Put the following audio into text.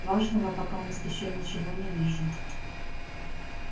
важного покамест ещё ничего не вижу